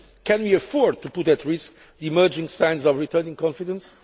Can we afford to put at risk the emerging signs of returning confidence?